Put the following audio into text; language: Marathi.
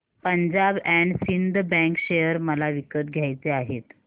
Punjab and Sind bank share मला विकत घ्यायचे आहेत